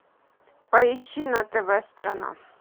поищи на тв страна